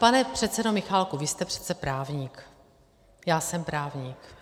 Pane předsedo Michálku, vy jste přece právník, já jsem právník.